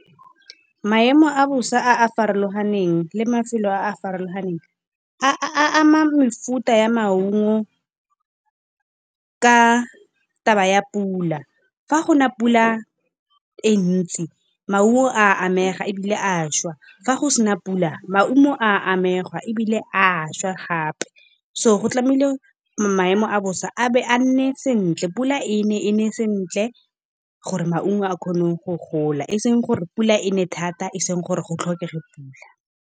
Maemo a bosa a a farologaneng le matshelo a a farologaneng, a ama mefuta ya maungo ka taba ya pula. Fa gona pula e ntsi maungo a amega ebile a šwa, fa go sena pula maungo a amega ebile a šwa gape. So go tlamehile maemo a bosa a be a nne sentle pula e ne, e ne sentle gore maungo a kgone go gola. Eseng gore pula e ne thata e seng gore go tlhokege pula.